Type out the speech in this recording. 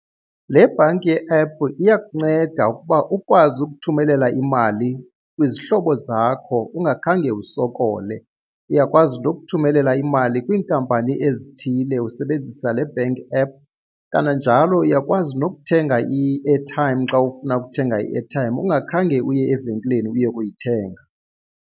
Le bhanki ye-app iyakunceda ukuba ukwazi ukuthumelela imali kwizihlobo zakho ungakhange usokole. Uyakwazi ukuthumelela imali kwiinkampani ezithile usebenzisa le bank app, kananjalo uyakwazi nokuthenga i-airtime xa ufuna ukuthenga i-airtime ungakhange uye evenkileni uye kuyithenga.